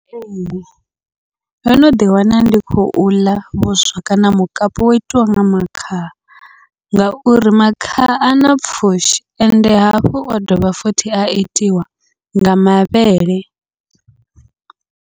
Ee, ndo no ḓi wana ndi khou ḽa vhuswa kana mukapu wo itiwa nga makhaha, ngauri makhaha ana pfhushi ende hafhu a dovha futhi a itiwa nga mavhele.